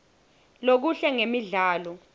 lokuhle ngemidlalo